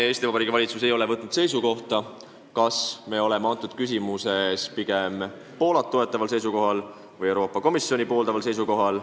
Eesti Vabariigi valitsus ei ole siiamaani otsustanud, kas me oleme selles küsimuses pigem Poolat toetaval või Euroopa Komisjoni pooldaval seisukohal.